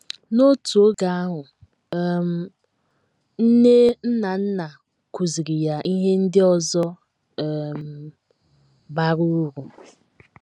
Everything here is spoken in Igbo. N’otu oge ahụ um, nne Nnanna kụziiri ya ihe ndị ọzọ um bara uru.